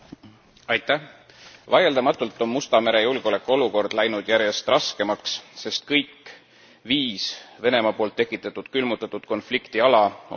Vaieldamatult on Musta mere julgeolekuolukord läinud järjest raskemaks, sest kõik viis Venemaa poolt tekitatud külmutatud konfliktiala on Musta mere piirkonnas.